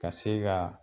Ka se ka